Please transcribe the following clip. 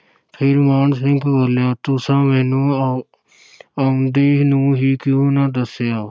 ਫਿਰ ਮਾਨ ਸਿੰਘ ਬੋਲਿਆ, ਤੁਸਾਂ ਮੈਨੂੰ ਆ~ ਆਉਂਦੇ ਨੂੰ ਹੀ ਕਿਉਂ ਨਾ ਦੱਸਿਆ।